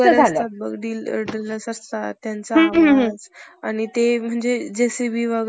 गद्द~ गंध नव्हता. पांडुरंग~ पांडुरंग दाजीबा या नावाचा~ नावाच्या शिक्षकांनी मुरुडमधेच, इंग्रजीचा एक वर्ग सुरु केला होता.